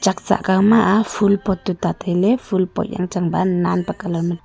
chak cha kow ma aa ful pot tuta tailey ful pot yan cheng ba nen pe colour ma--